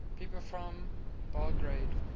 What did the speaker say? people from belgrade